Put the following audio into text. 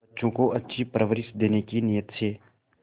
बच्चों को अच्छी परवरिश देने की नीयत से